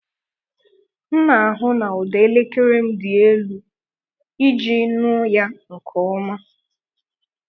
M na-ahụ na ụda elekere m dị elu iji nụ ya nke ọma.